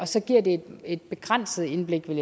så giver det et begrænset indblik